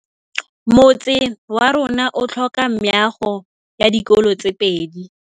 Motse warona o tlhoka meago ya dikolô tse pedi.